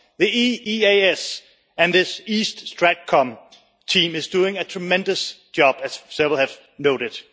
The EEAS and this East StratCom team is doing a tremendous job, as several have noted.